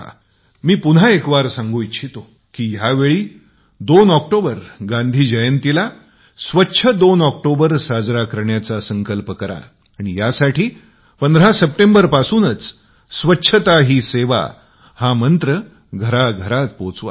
मी पुन्हा एकवार सांगू इच्छितो की यावेळी 2 ऑक्टोबर गांधी जयंतीला स्वच्छ 2 ऑक्टोबर साजरा करण्याचा संकल्प करा आणि यासाठी 15 सप्टेंबर पासूनच स्वच्छता ही सेवा हा मंत्र घरघरात पोहचवा